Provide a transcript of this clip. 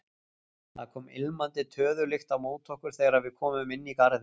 Það kom ilmandi töðulykt á móti okkur þegar við komum inn í garðinn.